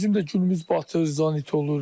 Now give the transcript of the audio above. İndi yəni bizim də günümüz batır, zanit olur.